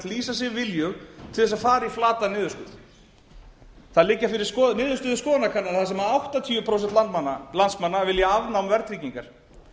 lýsa sig viljug til þess að fara í flatan niðurskurð það liggja fyrir niðurstöður skoðanakannana þar sem áttatíu prósent landsmanna vilja afnám verðtryggingar